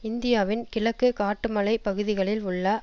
இந்தியாவின் கிழக்கு காட்டுமலை பகுதிகளில் உள்ள